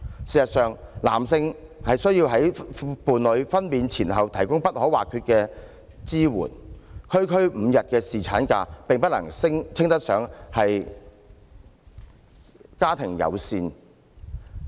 事實上，男性須在伴侶分娩前後提供各種必要的支援，政策提供區區5天侍產假並不能稱得上家庭友善。